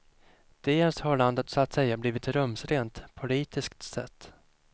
Dels har landet så att säga blivit rumsrent, politiskt sett.